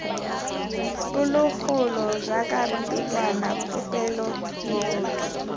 phologolo jaaka pelwana popelo moroto